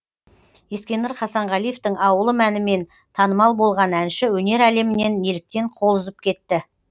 ескендір хасанғалиевтің ауылым әнімен танымал болған әнші өнер әлемінен неліктен қол үзіп кетті